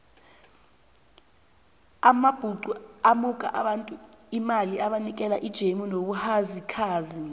amabhuxu amuka abantu imali abanikela ijemu nobuhazikhazi